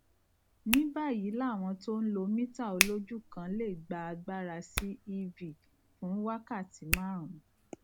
níbáyìíàwọn tó ń lo mítà olójú kan lè gba agbára sí ev fún wákàtí márùnún